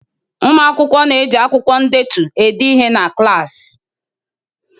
Ụmụ akwụkwọ na-eji akwụkwọ ndetu ede ihe na klaasị.